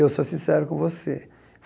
Eu sou sincero com você.